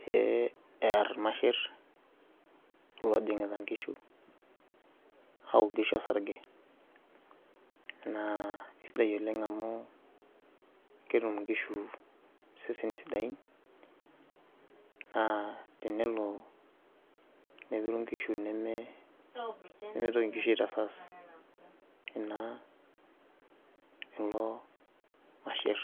pee err irmasherr lelo oojing'ita nkishu aaok nkishu osarge naa kesidai oleng' amu ketum nkishu iseseni sidan oleng' naa tenelo nepiru nkishu nemitoki nkishu aitasas ilo masherr.